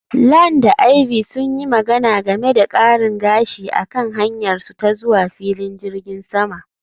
Lan da Ivy sun yi magana game da karin gashi a kan hanyarsu ta zuwa filin jirgin sama